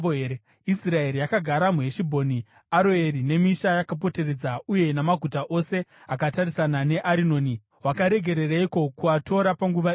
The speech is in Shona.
Israeri yakagara muHeshibhoni, Aroeri, nemisha yakapoteredza uye namaguta ose akatarisana neArinoni. Wakaregereiko kuatora panguva iyoyo?